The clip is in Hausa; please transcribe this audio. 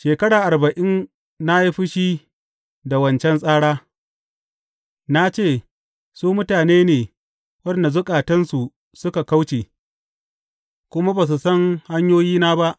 Shekara arba’in na yi fushi da wancan tsara; na ce, Su mutane ne waɗanda zukatansu suka kauce, kuma ba su san hanyoyina ba.’